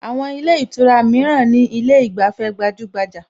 Àwọn ilé ìtura mìíràn ní ilé ìgbafẹ́ gbajúgbajà